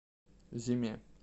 зиме